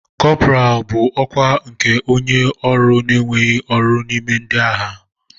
Kọpọraalụ bụ ọkwa nke onye ọrụ na-enweghị ọrụ n'ime ndị agha.